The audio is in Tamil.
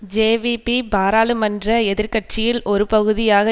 ஜேவிபி பாராளுமன்ற எதிர் கட்சியில் ஒரு பகுதியாக